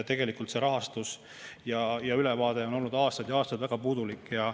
Tegelikult see rahastus ja ülevaade on olnud aastaid ja aastaid väga puudulik.